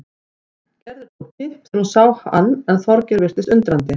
Gerður tók kipp þegar hún sá hann en Þorgeir virtist undrandi.